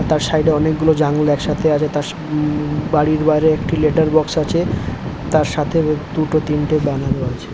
তার সাইড এ অনেকগুলো জানলা একসাথে আছে তার বাড়ির বাইরে একটি লেটার বক্স আছে তার সাথে দুটো তিনটো জানালো আছে।